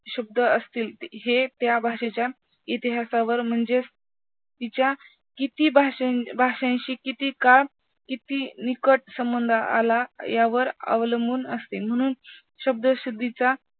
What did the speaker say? शब्द असतील हे त्या भाषेच्या इतिहासावर म्हणजेच तिच्या किती भाषें भाषेंशी किती काळ किती निकट संबंध आला हे यावर अवलंबून असते म्हणून शब्दशुद्धीचा